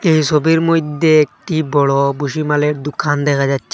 এই ছবির মইধ্যে একটি বড়ো ভুসিমালের দোকান দেখা যাচ্ছে।